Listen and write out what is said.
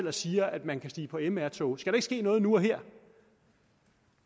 og siger at man kan stige på mr tog skal der ikke ske noget nu og her